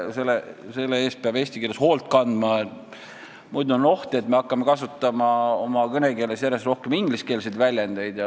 Selle eest peab hoolt kandma, muidu on oht, et me hakkame kasutama oma kõnekeeles järjest rohkem ingliskeelseid väljendeid.